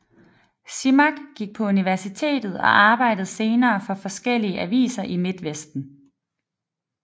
Simak gik på universitet og arbejdede senere for forskellige aviser i Midtvesten